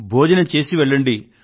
భోజనం చేసే వెళ్ళండి